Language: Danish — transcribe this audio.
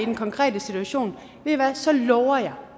den konkrete situation ved i hvad så lover jeg